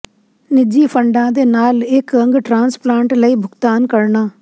ਨਿੱਜੀ ਫੰਡਾਂ ਦੇ ਨਾਲ ਇੱਕ ਅੰਗ ਟਰਾਂਸਪਲਾਂਟ ਲਈ ਭੁਗਤਾਨ ਕਰਨਾ